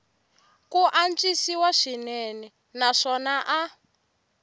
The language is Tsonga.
ku antswisiwa swinene naswona a